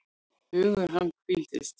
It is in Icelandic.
Hugur hans hvíldist.